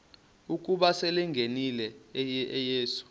ukuba selengenile uyesu